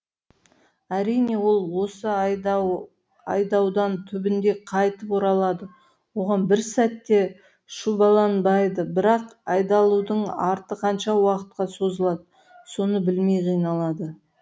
әрине ол осы айдаудан түбінде қайтып оралады оған бір сәт те шүбәланбайды бірақ айдалудың арты қанша уақытқа созылады соны білмей қиналады